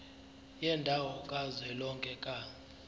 yendawo kazwelonke ka